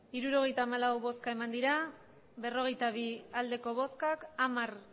resultado de la votación setenta y cuatro votos emitidos cuarenta y dos votos a favor